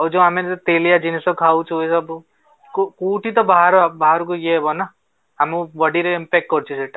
ଆଉ ଯୋଉ ଆମେ ତେଲିଆ ଜିନିଷ ଖାଉଚୁ ସବୁ କୋଉଠି ତ ବାହାର ବାହାରକୁ ଇଏ ହବ ନା ଆମ body ରେ impact କରୁଛି ସେଟା